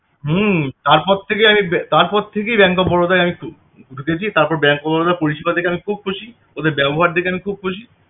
হম তারপর থেকে আমি তারপর থেকেই bank of Baroda য় আমি গেছি তারপর bank of Baroda পরিষেবা দেখে আমি খুব খুশি ওদের ব্যবহার দেখে আমি খুব খুশি